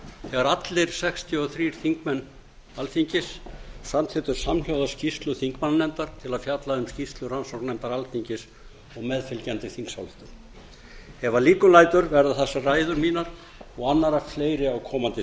þegar allir sextíu og þrír þingmenn alþingis samþykktu samhljóða skýrslu þingmannanefndar til að fjalla um skýrslu rannsóknarnefndar alþingis sem meðfylgjandi þingsályktun ef að líkum lætur verða þessar ræður mínar og annarra fleiri á komandi